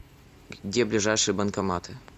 где ближайшие банкоматы